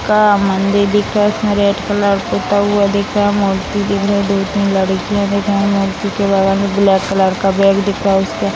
का मंदिर दिख रह है। इसमें रेड कलर पुता हुआ दिख रहा है। मूर्ति दिख रही है.दो तीन लड़कियां दिख रही हैं। मूर्ति के बगल में ब्लैक कलर का बैग दिख रहा उसका --